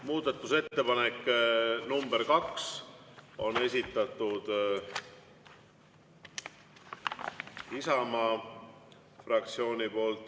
Muudatusettepanek nr 2 on esitatud Isamaa fraktsiooni poolt.